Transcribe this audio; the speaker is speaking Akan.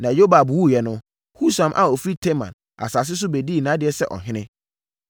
Na Yobab wuiɛ no, Husam a ɔfiri Teman asase so bɛdii nʼadeɛ sɛ ɔhene.